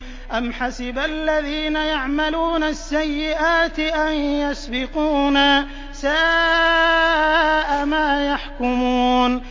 أَمْ حَسِبَ الَّذِينَ يَعْمَلُونَ السَّيِّئَاتِ أَن يَسْبِقُونَا ۚ سَاءَ مَا يَحْكُمُونَ